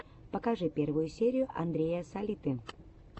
покажи первую серию андрея салиты